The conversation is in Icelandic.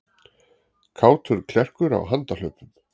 Kátur klerkur á handahlaupum